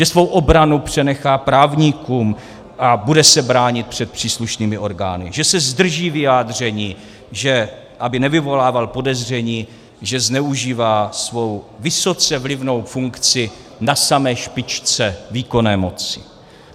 Že svou obranu přenechá právníkům a bude se bránit před příslušnými orgány, že se zdrží vyjádření, aby nevyvolával podezření, že zneužívá svou vysoce vlivnou funkci na samé špičce výkonné moci.